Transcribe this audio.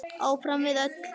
Áfram við öll.